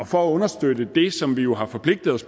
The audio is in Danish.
for at understøtte det som vi jo har forpligtet os